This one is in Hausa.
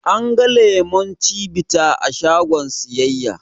An ga lemon cibita a shagon siyayya